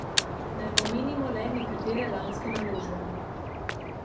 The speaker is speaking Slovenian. Naj omenimo le nekatere lanske naložbe.